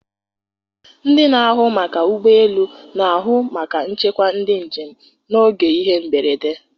Ndị na-ahụ maka ụgbọelu na-ahụ maka nchekwa ndị njem n'oge ihe mberede.